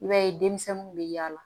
I b'a ye denmisɛnninw bɛ yaala